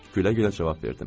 Gülə-gülə cavab verdim.